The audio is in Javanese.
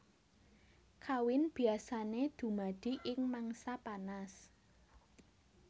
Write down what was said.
Kawin biasané dumadi ing mangsa panas